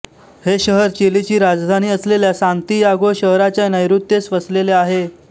हे शहर चिलीची राजधानी असलेल्या सान्तियागो शहराच्या नैऋत्येस वसलेले आहे